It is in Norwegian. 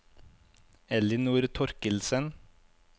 Ellinor Torkildsen